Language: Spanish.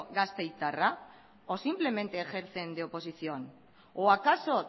gasteiztarra o simplemente ejercen de oposición o acaso